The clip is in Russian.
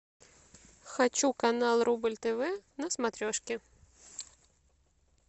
хочу канал рубль тв на смотрешке